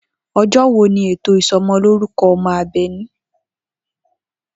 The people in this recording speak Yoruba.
O̩jó̩ wo ni ètò ìso̩mo̩lórúko̩ o̩mo̩ Àbè̩ní?